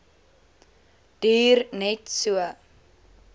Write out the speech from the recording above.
duur net so